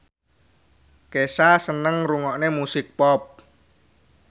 Kesha seneng ngrungokne musik pop